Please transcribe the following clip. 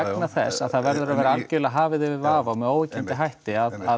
vegna þess að það verður að vera hafið yfir allan vafa með óyggjandi hætti að